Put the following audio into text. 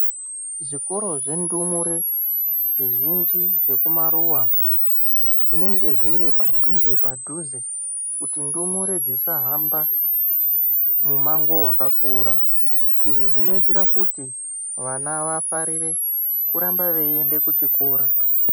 Zvikoro zvendumure zvizhinji zvekumaruwa zvinenge zviri padhuze padhuze. Kuti ndumurwe dzisahamba mumango wakakura .Izvi zvinoitira kuti vana vafarire kurambe eienda kuchikora